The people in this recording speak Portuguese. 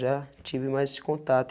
Já tive mais esse contato.